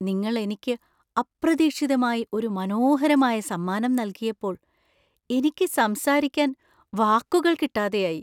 നിങ്ങൾ എനിക്ക് അപ്രതീക്ഷിതമായി ഒരു മനോഹരമായ സമ്മാനം നൽകിയപ്പോൾ എനിക്ക് സംസാരിക്കാൻ വാക്കുകൾ കിട്ടാതെയായി.